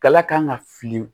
Kala kan ka fili